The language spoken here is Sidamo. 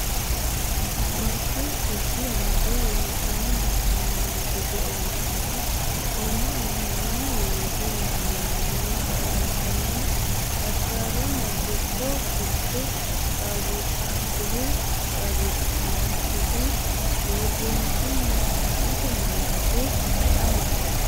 Barru Rosi Amado loossine dagginnanni gede oommo’nehu oomma’nehu mini loosi mayyaannoro • Qaallannita addaarronna gucho ficho qaagiissannonkehu qaagiissitannonketi • Uurrishshunna xa’mote malaate ayeeti?